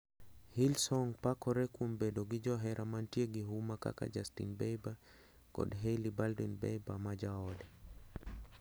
Hillsong pakore kuom bedo gi johera mantie hgi huma kaka Justin Bieber kod Hailey Baldwin Bieber ma jaode.